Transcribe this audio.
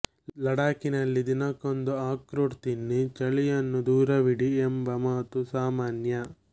ಲಡಾಖಿನಲ್ಲಿ ದಿನಕ್ಕೊಂದು ಅಕ್ರೂಟ್ ತಿನ್ನಿ ಚಳಿಯನ್ನು ದೂರವಿಡಿ ಎಂಬ ಮಾತು ಸಾಮಾನ್ಯ